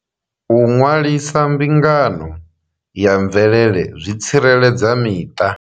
U ṅwalisa mbingano ya mvelele zwi tsireledza miṱa.